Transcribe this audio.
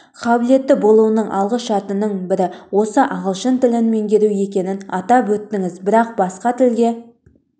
қабілетті болуының алғы шартының бірі осы ағылшын тілін меңгеру екенін атап өттіңіз бірақ басқа тілге